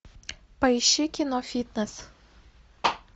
поищи кино фитнес